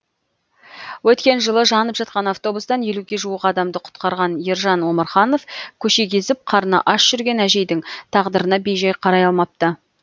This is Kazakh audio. өткен жылы жанып жатқан автобустан елуге жуық адамды құтқарған ержан омарханов көше кезіп қарны аш жүрген әжейдің тағдырына бейжай қарай алмапты